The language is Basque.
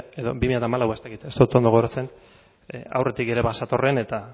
edo bi mila hamalaua ez dakit ez dut ondo gogoratzen aurretik ere bazetorren